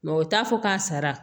o t'a fɔ k'a sara